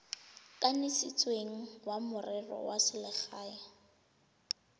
kanisitsweng wa merero ya selegae